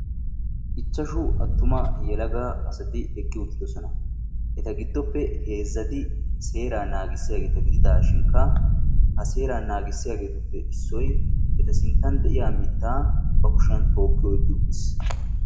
ichchashshu attuma yelaaga asati eqqi uttidoosana eta gidoppe heezati seera naagissiyaagata gidishinkka ha seera naagissiyaagetuppe issoy eta gidon de'iyaa mita ba kushiyaan tookki oyqqi uttiis.